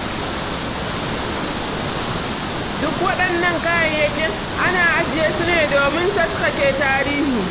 Duk waɗannan kayayyakin ana ajiye su ne domin taskace tarihi.